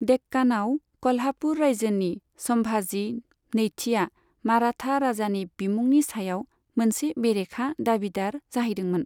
देक्कानआव क'ल्हापुर रायजोनि सम्भाजी नैथिया माराठा राजानि बिमुंनि सायाव मोनसे बेरेखा दाबिदार जाहैदोंमोन।